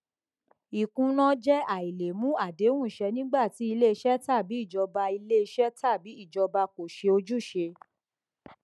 ìkùnà jẹ àìlè mú àdéhùn ṣẹ nígbà tí iléiṣẹ tàbí ìjọba iléiṣẹ tàbí ìjọba kò ṣe ojúṣe